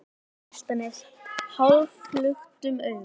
Horfir út á Álftanes hálfluktum augum.